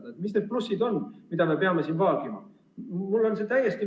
Mis on siin need plussid, mida me peame vaagima?